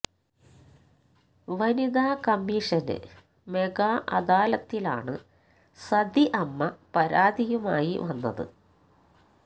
വനിതാ കമ്മിഷന് മെഗാ അദാലത്തിലാണ് സതി അമ്മ പരാതിയുമായി വന്നത്